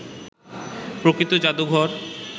প্রকৃত জাদুঘর